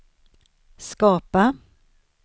skapa